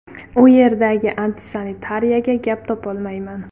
U yerdagi antisanitariyaga gap topolmayman.